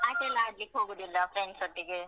ಆಟಯೆಲ್ಲ ಆಡ್ಲಿಕ್ಕೆ ಹೋಗುದಿಲ್ವಾ friends ಒಟ್ಟಿಗೆ.